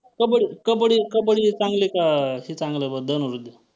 कबड्डी~कबड्डी~ कबड्डी चांगली का हे चांगलं बरं धनुर्विद्या?